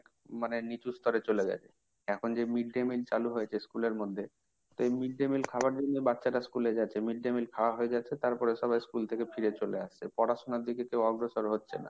মানে নিচু স্তরে চলে গেছে। এখন যে mid day meal চালু হয়েছে স্কুলের মধ্যে সেই mid day meal খাওয়ার জন্যই বাচ্চারা স্কুলে যাচ্ছে। mid day meal খাওয়া হয়ে যাচ্ছে তারপরে সবাই স্কুল থেকে ফিরে চলে আসছে। পড়াশোনার দিকে কেউ অগ্রসর হচ্ছে না।